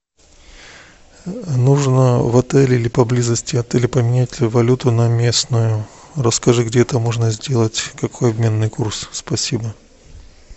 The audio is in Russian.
нужно в отеле или поблизости отеля поменять валюту на местную расскажи где это можно сделать какой обменный курс спасибо